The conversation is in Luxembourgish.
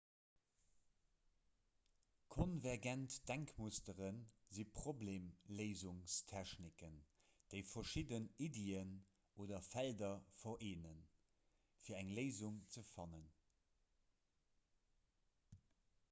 konvergent denkmustere si problemléisungstechniken déi verschidden iddien oder felder vereenen fir eng léisung ze fannen